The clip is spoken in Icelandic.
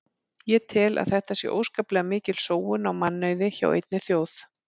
Ég tel að þetta sé óskaplega mikil sóun á mannauði hjá einni þjóð.